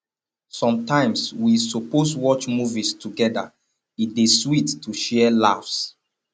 sometimes we suppose watch movies togeda e dey sweet to share laughs